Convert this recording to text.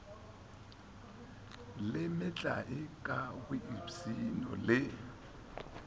le metlae ka boipshino le